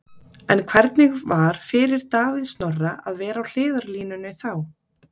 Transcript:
En hvernig var fyrir Davíð Snorra að vera á hliðarlínunni þá?